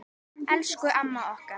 Elsku amma okkar.